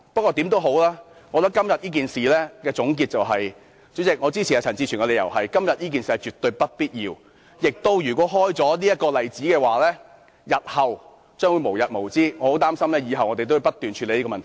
無論如何，今天這件事情的總結，主席，我支持陳志全議員的理由，就是今天這件事情絕對不必要，而且如果開了先例，日後亦將會無日無之，我很擔心我們以後也需要不斷處理這種問題。